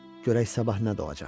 Görək sabah nə doğacaq.